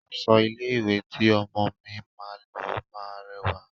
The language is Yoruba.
Aṣọ ilé-ìwé tí ọmọọ̀ mi máa lọ máa rẹwà.